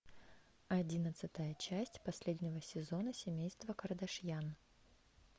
одиннадцатая часть последнего сезона семейство кардашьян